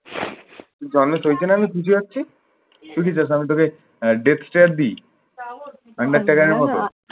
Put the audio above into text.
জানলে চলছে না আমি বুঝে যাচ্ছি। তুই কি চাস আমি তোকে আহ desk chair দিই। মানে মেট্রো গাড়ির মতো